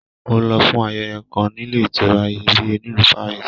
Mo lọ fún ayẹyẹ kàn níle ìtura Iyebiye nílu Paris.